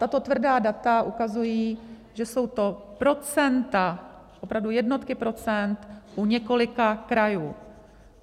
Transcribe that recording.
Tato tvrdá data ukazují, že jsou to procenta, opravdu jednotky procent u několika krajů.